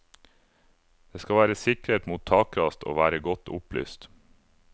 Det skal være sikret mot takras og være godt opplyst.